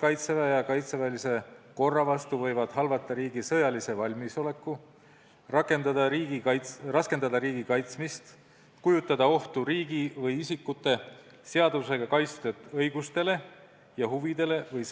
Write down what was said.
Kaitseväe ja kaitseväelise korra vastu sooritatud eksimused võivad halvata riigi sõjalise valmisoleku, raskendada riigi kaitsmist, kujutada ohtu riigi või isikute seadusega kaitstud õigustele ja huvidele ning